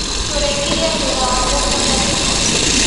Tũrĩkirie wĩra wa mũgunda tene.